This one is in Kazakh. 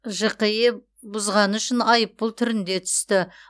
жқе бұзғаны үшін айыппұл түрінде түсті